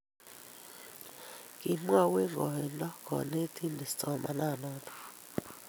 Kimwou eng' koindo konetindet somanet noto